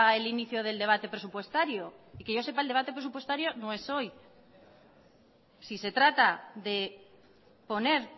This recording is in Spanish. el inicio del debate presupuestario y que yo sepa el debate presupuestario no es hoy si se trata de poner